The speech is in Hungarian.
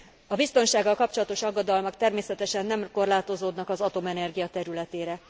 A biztonsággal kapcsolatos aggodalmak természetesen nem korlátozódnak az atomenergia területére.